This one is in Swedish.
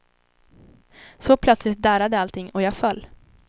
Så plötsligt darrade allting och jag föll.